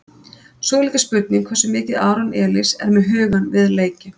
Svo er líka spurning hversu mikið Aron Elís er með hugann við leikinn?